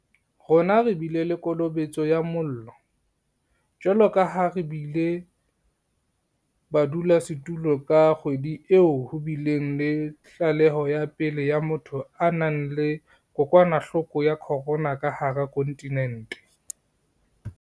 Rona re bile le kolobetso ya mollo, jwalo ka ha re bile badulasetulo ka kgwedi e ho bileng le tlaleho ya pele ya motho a nang le kokwanahloko ya corona ka hara kontinente.